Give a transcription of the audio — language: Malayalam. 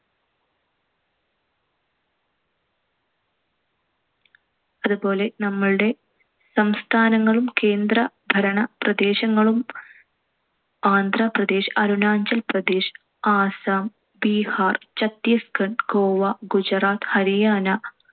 അതുപോലെ നമ്മളുടെ സംസ്ഥാനങ്ങളും, കേന്ദ്ര ഭരണ പ്രദേശങ്ങളും. ആന്ധ്രാ പ്രദേശ്‌, അരുണാചൽ പ്രദേശ്‌, ആസാം, ബീഹാർ, ഛത്തീസ് ഗഡ്, ഗോവ, ഗുജറാത്ത്, ഹരിയാന,